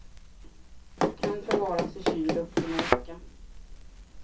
Kan förvaras i kyl upp till en vecka.